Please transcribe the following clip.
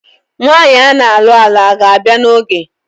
Nwaanyi ana alụ alụ a ga-abịa na oge?